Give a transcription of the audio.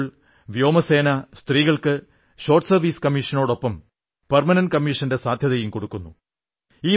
ഇപ്പോൾ വായുസേന സ്ത്രീകൾക്ക് ഷോർട്ട് സർവ്വീസ് കമ്മീഷനൊപ്പം പെർമനന്റ് കമ്മീഷന്റെ സാധ്യതയും നൽകുന്നു